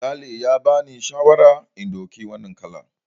Sale ya bani shawarar in ɗauki wannan kalar.